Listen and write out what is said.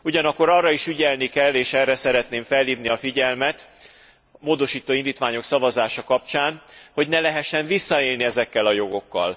Ugyanakkor arra is ügyelni kell, és erre szeretném felhívni a figyelmet módosító indítványok szavazása kapcsán hogy ne lehessen visszaélni ezekkel a jogokkal.